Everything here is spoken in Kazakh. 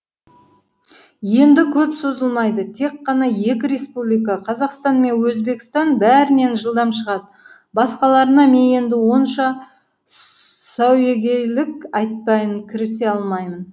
енді көп созылмайды тек қана екі республика қазақстан мен өзбекстан бәрінен жылдам шығады басқаларына мен енді онша сәуегейлік айтпаймын кірісе алмаймын